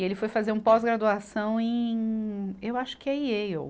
E ele foi fazer um pós-graduação em, eu acho que é Yale.